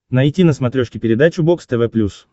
найти на смотрешке передачу бокс тв плюс